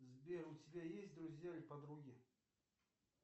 сбер у тебя есть друзья или подруги